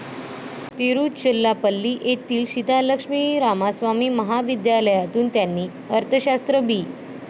तिरुचिरापल्ली येथील सीतालक्ष्मी रामास्वामी महाविद्यालयातून त्यांनी अर्थशास्त्र बी.